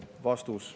" Vastus.